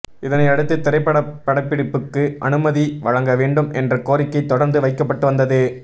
இதனை அடுத்து திரைப்பட படப்பிடிப்புக்கு அனுமதி வழங்க வேண்டும் என்ற கோரிக்கை தொடர்ந்து வைக்கப்பட்டு வந்தது